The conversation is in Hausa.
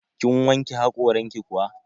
Kin wanke haƙoranki kuwa?